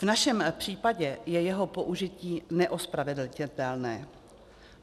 V našem případě je jeho použití neospravedlnitelné.